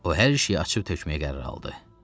O hər şeyi açıb tökməyə qərar aldı.